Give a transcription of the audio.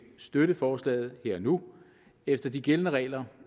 støtte forslaget her og nu efter de gældende regler